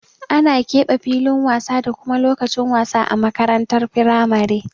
Ana keɓe filin wasa da kuma lokacin wasa a makarantar firamare.